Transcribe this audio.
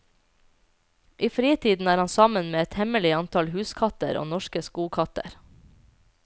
I fritiden er han sammen med et hemmelig antall huskatter og norske skogkatter.